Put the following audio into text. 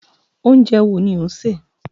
Oúnjẹ wo ni ó ń ṣe?